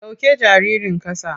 Sauke jaririn ƙasa.